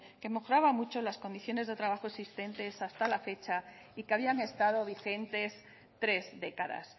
que mejoraba mucho las condiciones de trabajo existente hasta la fecha y que habían estado vigentes tres décadas